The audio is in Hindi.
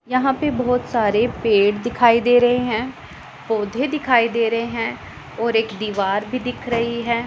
यहां पे बहुत सारे पेड़ दिखाई दे रहे हैं पौधे दिखाई दे रहे हैं और एक दीवार भी दिख रही है।